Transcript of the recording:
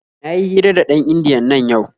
Na yi hira da ɗan indiyan nan yau.